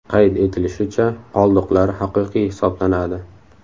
Qayd etilishicha, qoldiqlar haqiqiy hisoblanadi.